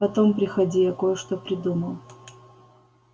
потом приходи я кое-что придумал